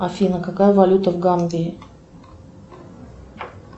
афина какая валюта в гамбии